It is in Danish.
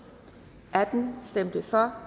for